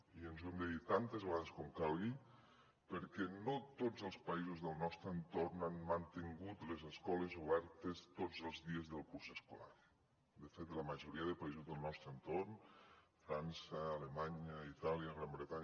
i ens ho hem de dir tantes vegades com calgui perquè no tots els països del nostre entorn han mantingut les escoles obertes tots els dies del curs escolar de fet la majoria de països del nostre entorn frança alemanya itàlia gran bretanya